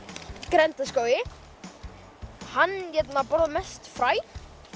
grenndarskógi hann borðar mest fræ